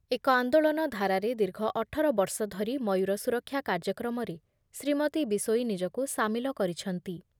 ଏକ ଆନ୍ଦୋଳନ ଧାରାରେ ଦୀର୍ଘ ଅଠର ବର୍ଷ ଧରି ମୟୂର ସୁରକ୍ଷା କାର୍ଯ୍ୟକ୍ରମରେ ଶ୍ରୀମତୀ ବିଷୋୟୀ ନିଜକୁ ସାମିଲ କରିଛନ୍ତି ।